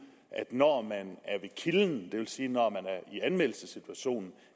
at når man er ved kilden det vil sige i anmeldelsessituationen